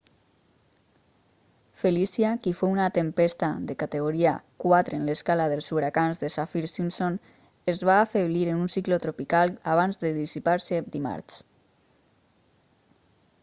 felicia qui fou una tempesta de categoria 4 en l'escala dels huracans de saffir-simpson es va afeblir en un cicló tropical abans de dissipar-se dimarts